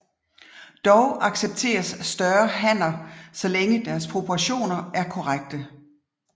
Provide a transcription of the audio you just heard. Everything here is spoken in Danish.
Dog accepteres større hanner så længe deres proportioner er korrekte